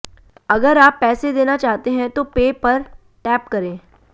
अगर आप पैसे देना चाहते हैं तो पे पर टैप करें